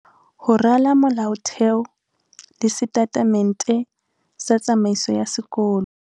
Ho rala molaotheo le setatemente sa tsamaiso ya sekolo.